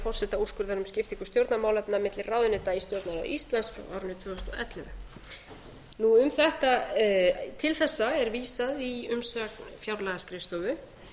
forsetaúrskurðar um skiptingu stjórnarmálefna milli ráðuneyta í stjórnarráði íslands frá árinu tvö þúsund og ellefu um þetta til þess er vísað í umsögn fjárlagaskrifstofu